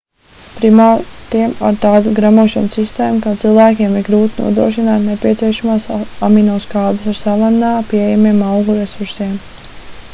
primātiem ar tādu gremošanas sistēmu kā cilvēkiem ir grūti nodrošināt nepieciešamās aminoskābes ar savannā pieejamajiem augu resursiem